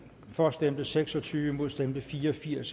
for stemte seks og tyve imod stemte fire og firs